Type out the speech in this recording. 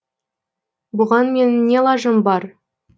бұған менің не лажым бар